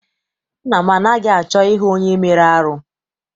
Nna m anaghị achọ I hụ onye mere arụ.